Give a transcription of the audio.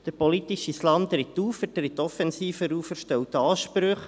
Der politische Islam tritt auf, er tritt offensiver auf, er stellt Ansprüche.